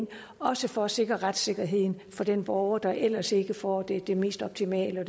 også for at sikre retssikkerheden for den borger der ellers ikke får det det mest optimale og